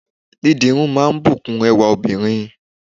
Dídirun máa ń bùkún ẹwà óbìnrin